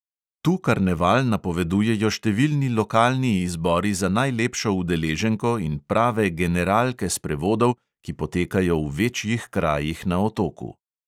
Tu karneval napovedujejo številni lokalni izbori za najlepšo udeleženko in prave generalke sprevodov, ki potekajo v večjih krajih na otoku.